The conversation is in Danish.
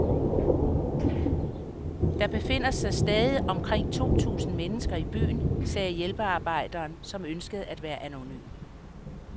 Der befinder sig stadig omkring to tusind mennesker i byen, sagde hjælpearbejderen, som ønskede at være anonym.